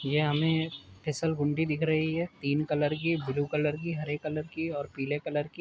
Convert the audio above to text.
ये हमें फिसलगुंडी दिख रही है। तीन कलर की ब्लू कलर की हरे कलर की और पीले कलर की।